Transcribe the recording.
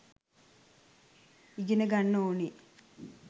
ඉගෙන ගන්න ඕනෙ